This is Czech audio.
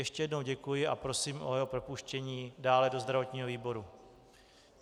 Ještě jednou děkuji a prosím o jeho propuštění dále do zdravotního výboru.